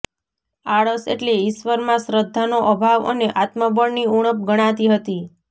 આળસ એટલે ઈશ્વરમાં શ્રદ્ધાનો અભાવ અને આત્મબળની ઊણપ ગણાતી હતી